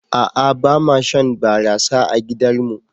A'a bama shan barasa a gidar mu.